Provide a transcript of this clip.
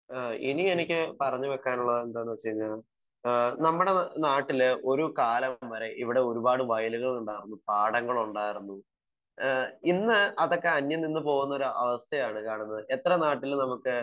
Speaker 1 ഏഹ് ഇനി എനിക്ക് പറഞ്ഞു വെക്കാനുള്ളത് എന്താന്ന് വെച്ച് കഴിഞ്ഞാൽ ഏഹ് നമ്മുടെ നാട്ടില് ഒരു കാലം വരെ ഇവിടെ ഒരുപാട് വയലുകളുണ്ടാർന്നു. പാടങ്ങളുണ്ടാർന്നു ഏഹ്‌ ഇന്ന് അതൊക്കെ അന്യം നിന്ന് പോകുന്ന ഒരു അവസ്ഥയാണ് കാണുന്നത്. എത്ര നാട്ടിൽ നമുക്ക്,